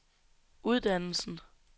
uddannelsen